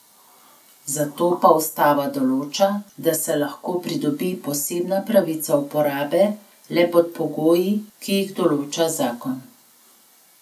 Za to pa ustava določa, da se lahko pridobi posebna pravica uporabe le pod pogoji, ki jih določa zakon.